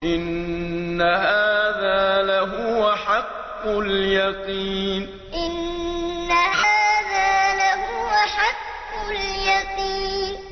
إِنَّ هَٰذَا لَهُوَ حَقُّ الْيَقِينِ إِنَّ هَٰذَا لَهُوَ حَقُّ الْيَقِينِ